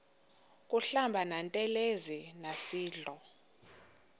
kuhlamba ngantelezi nasidlo